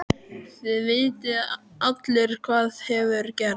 Þið vitið allir hvað hefur gerst.